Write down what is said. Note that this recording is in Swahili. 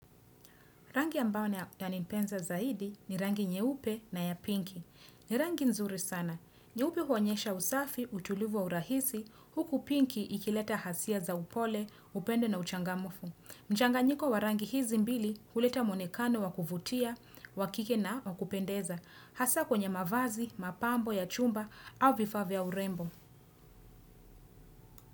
Rangi ambayo yanipenza zaidi ni rangi nyeupe na ya pinki. Ni rangi nzuri sana. Nyeupe huoenyesha usafi, utulivu wa urahisi, huku pinki ikileta hisia za upole, upendo na uchangamufu. Mchanganyiko wa rangi hizi mbili huleta mwonekano wa kuvutia, wa kike na wa kupendeza. Hasa kwenye mavazi, mapambo ya chumba au vifaa vya urembo.